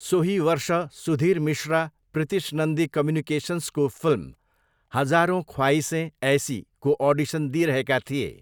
सोही वर्ष सुधीर मिश्रा प्रितिश नन्दी कम्युनिकेसन्सको फिल्म हजारों ख्वाइसे ऐसीको अडिसन दिइरहेका थिए।